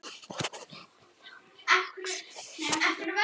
Hún horfði hugsi á hann.